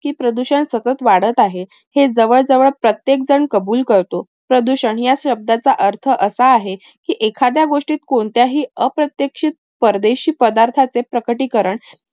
की प्रदूषण सतत वाढत आहे. हे जवळ जवळ प्रत्येक झण कबूल करतो. प्रदूषण या शब्दाचा अर्थ असा आहे. की, एखाद्या गोष्टीत कोणत्याही अप्रत्याक्षिक परदेशी पदार्थाचे प्रकटीकरण